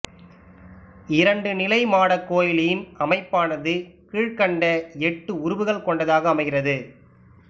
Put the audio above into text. இரண்டு நிலை மாடக் கோயிலின் அமைப்பானது கீழ்கண்ட எட்டு உறுப்புகள் கொண்டதாக அமைகிறது